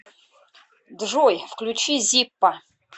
джой включи зиппо